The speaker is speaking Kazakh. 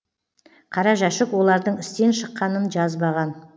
қара жәшік олардың істен шыққанын жазбаған